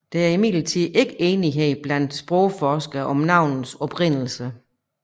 Der er imidlertid ikke enighed blandt sprogforskere om navnets oprindelse